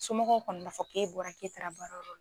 Somɔgɔw kɔni b'a fɔ k'e bɔra k'e taara baarayɔrɔ la.